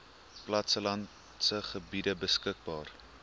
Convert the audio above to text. plattelandse gebiede beskikbaar